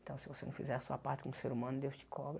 Então, se você não fizer a sua parte como ser humano, Deus te cobra.